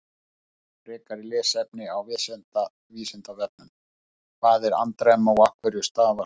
Frekara lesefni á Vísindavefnum: Hvað er andremma og af hverju stafar hún?